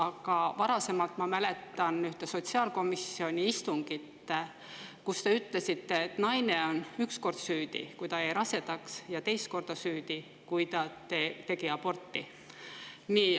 Aga ma varasemast mäletan üht sotsiaalkomisjoni istungit, kus te ütlesite, et naine on üks kord süüdi, kui ta jäi rasedaks, ja teist korda süüdi, kui tegi aborti.